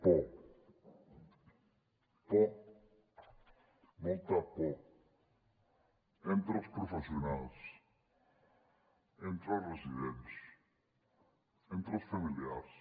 por por molta por entre els professionals entre els residents entre els familiars